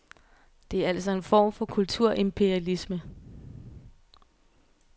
Det er altså en form for kulturimperialisme.